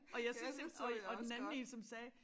Og jeg synes ik og og den anden én som sagde